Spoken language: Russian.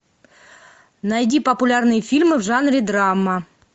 найди популярные фильмы в жанре драма